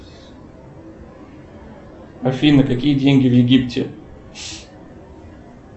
афина какие деньги в египте